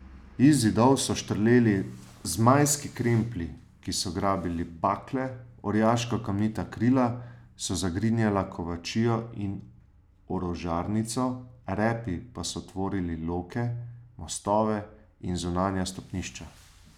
Iz zidov so štrleli zmajski kremplji, ki so grabili bakle, orjaška kamnita krila so zagrinjala kovačijo in orožarnico, repi pa so tvorili loke, mostove in zunanja stopnišča.